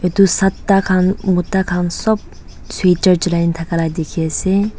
tu sata khan mota khan sob sweater jalai thaka la dekhi ase.